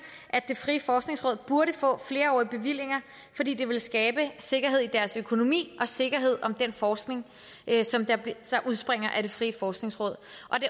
at det frie forskningsråd burde få flerårige bevillinger fordi det ville skabe sikkerhed i deres økonomi og sikkerhed om den forskning som udspringer af det frie forskningsråd